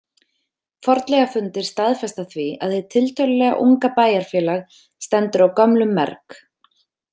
Fornleifafundir staðfesta því að hið tiltölulega unga bæjarfélag stendur á gömlum merg.